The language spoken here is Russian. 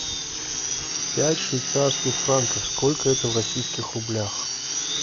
пять швейцарских франков сколько это в российских рублях